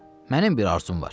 Mənim bir arzum var.